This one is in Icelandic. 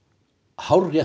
hárrétt